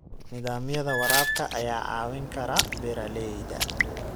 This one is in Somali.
Nidaamyada waraabka ayaa caawin kara beeralayda.